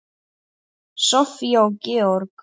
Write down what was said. Soffía og Georg.